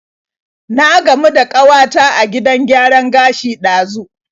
Na gamu da kawata a gidan gyaran gashi ɗazu.